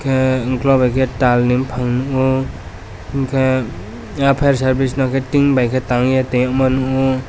ahh uklog unke tal ni bufang nu enke eiang furesirvice no ke tin by tangia tia mano.